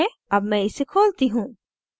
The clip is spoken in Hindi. अब मैं इसे खोलती हूँ